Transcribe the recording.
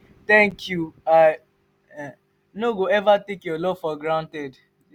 thank you i um no go eva take your love for granted.